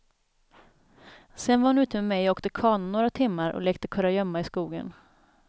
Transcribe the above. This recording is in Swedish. Sedan var hon ute med mig och åkte kana några timmar och lekte kurragömma i skogen.